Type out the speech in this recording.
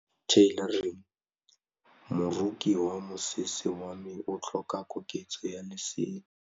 Moroki wa mosese wa me o tlhoka koketsô ya lesela.